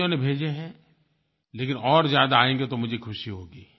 कइयों ने भेजे हैं लेकिन और ज़्यादा आयेंगे तो मुझे ख़ुशी होगी